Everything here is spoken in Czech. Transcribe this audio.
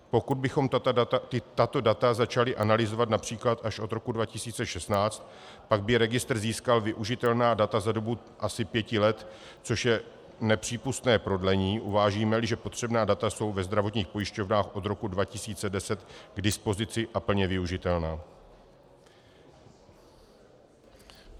Pokud bychom tato data začali analyzovat například až od roku 2016, pak by registr získal využitelná data za dobu asi pěti let, což je nepřípustné prodlení, uvážíme-li, že potřebná data jsou ve zdravotních pojišťovnách od roku 2010 k dispozici a plně využitelná.